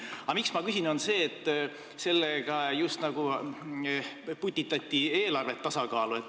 Aga põhjus, miks ma küsin, on see, et sellega justnagu putitati eelarvet tasakaalu.